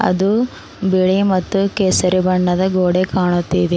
ಅದು ಬಿಳಿ ಮತ್ತು ಕೇಸರಿ ಬಣ್ಣದ ಗೋಡೆ ಕಾಣುತ್ತಿದೆ.